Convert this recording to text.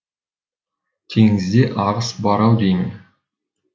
теңізде ағыс бар ау деймін